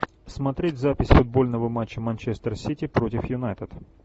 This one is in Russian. смотреть запись футбольного матча манчестер сити против юнайтед